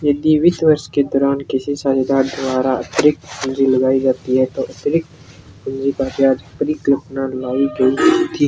यह बीत वर्ष के दौरान किसी के द्वारा अतिरिक्त लगाई जाती है तो अतिरिक्त ब्याज का परिकलन लगाई गयी --